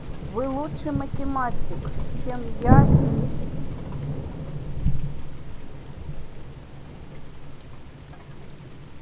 вы лучший математик чем я и